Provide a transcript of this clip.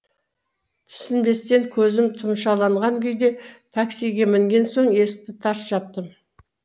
түсінбестен көзім тұмшаланған күйде таксиге мінген соң есікті тарс жаптым